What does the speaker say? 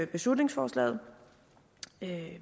beslutningsforslaget